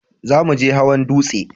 Za mu je hawan dutse